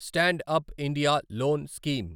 stand up India loan scheme